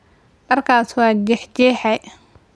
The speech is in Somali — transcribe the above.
Dharkaas waa jeexjeexay.